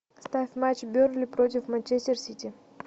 ставь матч бернли против манчестер сити